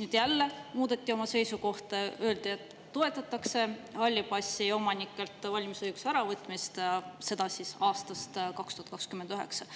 Nüüd jälle muudeti oma seisukohta, öeldi, et toetatakse halli passi omanikelt valimisõiguse äravõtmist, seda siis aastast 2029.